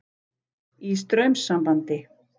Í straumsambandi.